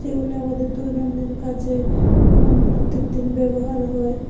যেগুলো আমাদের দৈনন্দিন কাজে উম প্রত্যেকদিন ব্যবহার হয়।